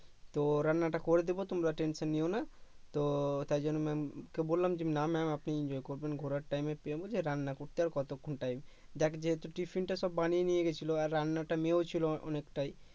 তো রান্নাটা করে দেবো তোমরা টেনশন নিও না তো তাই জন্য MA'AM কে বললাম যে না MA'AM আপনি enjoy করবেন ঘোরার time বলছে রান্না করতে আর কতক্ষণ টাইম দেখ যেহেতু টিফিন টা সব বানিয়ে নিয়ে গেছিলো আর রান্নাটা মেয়েও ছিলো অনেক তাই